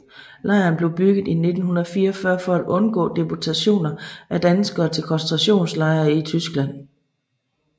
Lejren blev bygget i 1944 for at undgå deportationer af danskere til koncentrationslejre i Tyskland